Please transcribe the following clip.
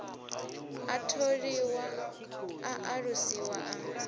a tholiwa a alusiwa a